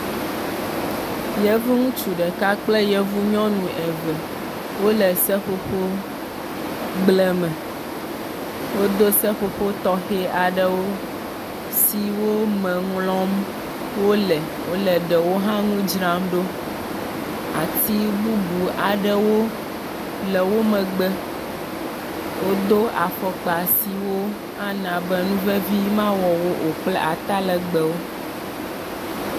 Yevu ŋutsu ɖeka kple yevu nyɔnu eve wole seƒoƒogblẽ me. Wodo seƒoƒo tɔxɛ aɖewo siwo me ŋlɔm wole eye wole ɖewo hã ŋu dzram ɖo, ati bubu aɖewo le wo megbe. Wodo afɔkpa siwo ana be nu vevi mawɔ wo o kple ata legbewo.